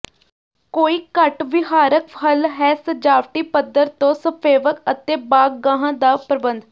ਕੋਈ ਘੱਟ ਵਿਹਾਰਕ ਹੱਲ ਹੈ ਸਜਾਵਟੀ ਪੱਥਰ ਤੋਂ ਸਫੇਵਕ ਅਤੇ ਬਾਗ਼ਗਾਹਾਂ ਦਾ ਪ੍ਰਬੰਧ